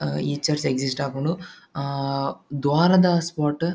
ಹಾ ಈ church exist ಆಪುಂಡು. ಆ ದ್ವಾರದ ಸ್ಪಾಟ್ --